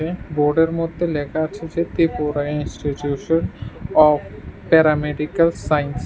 এখানে বোর্ডের মধ্যে লেখা আছে যে Tripura institution of paramedical science.